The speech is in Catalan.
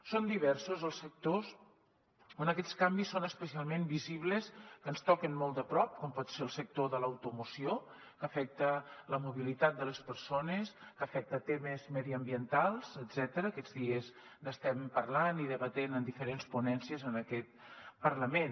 són diversos els sectors on aquests canvis són especialment visibles que ens toquen molt de prop com pot ser el sector de l’automoció que afecta la mobilitat de les persones que afecta temes mediambientals etcètera aquests dies n’estem parlant i debatent en diferents ponències en aquest parlament